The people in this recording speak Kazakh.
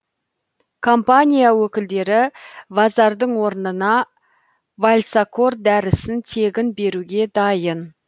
компания өкілдері вазардың орнына вальсакор дәрісін тегін беруге дайын